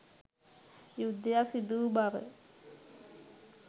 යුද්ධයක් සිදුවූ බව